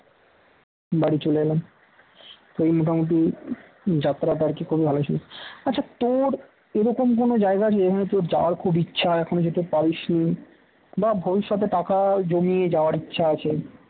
বাড়ি চলে এলাম এই মোটামুটি যাত্রাটা আর কি খুবই ভালো ছিল, আচ্ছা তোর এরকম কোনও জায়গা যেখানে তোর যাওয়ার খুব ইচ্ছা এখন যেতে পারিস নি বা ভবিষ্যতে টাকা জমিয়ে যাওয়ার ইচ্ছা আছে